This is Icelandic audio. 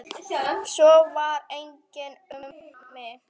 Svo var einnig um mig.